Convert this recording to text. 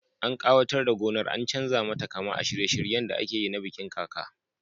An kawatar da gonar an chanza mata kama a shirye shiryen da akeyi na bikin kaka